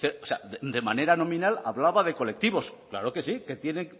o sea de manera nominal hablaba de colectivos claro que sí que tiene